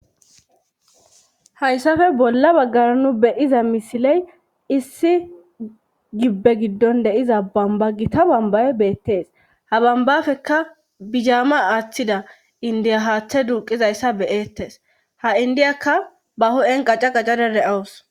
Hayssafe bolla baggara nu beiza misiley issi gibbe giddon deiza bamba gita bambaye beettees ha bambafeka bijaama aaththida indiya haaththe duuqizayssa beyettes ha indiyakka ba ho7en qaca qacada de7owus.